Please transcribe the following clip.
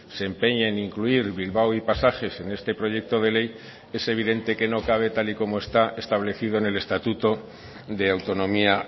se empeñe en incluir bilbao y pasajes en este proyecto de ley es evidente que no cabe tal y como está establecido en el estatuto de autonomía